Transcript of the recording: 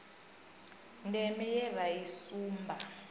deme ye ra i sumba